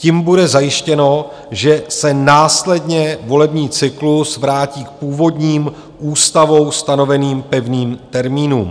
Tím bude zajištěno, že se následně volební cyklus vrátí k původním ústavou stanoveným pevným termínům.